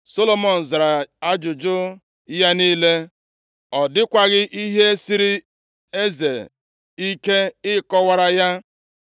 Solomọn zara ya ajụjụ ya niile; ọ dịkwaghị ihe siiri eze ike ịkọwara ya.